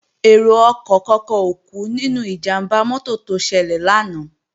Èrò ọkọ̀ kankan ò kú nínú ìjàmbá mọ́tò tó ṣẹlẹ̀ lánàá